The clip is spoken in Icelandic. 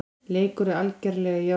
Leikur er algerlega í járnum